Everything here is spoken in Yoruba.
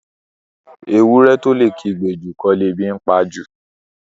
Ewúrẹ́ tó lè kígbe jù kọ́ lebi ńpa jù.